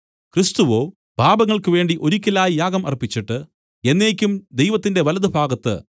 ക്രിസ്തുവോ പാപങ്ങൾക്ക് വേണ്ടി ഒരിക്കലായി യാഗം അർപ്പിച്ചിട്ട് എന്നേക്കും ദൈവത്തിന്റെ വലത്തുഭാഗത്ത്